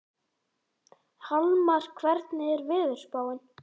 Hallmar, hvernig er veðurspáin?